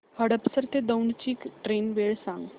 हडपसर ते दौंड ची ट्रेन वेळ सांग